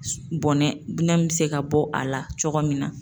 Bɔnnɛ binɛ bɛ se ka bɔ a la cogo min na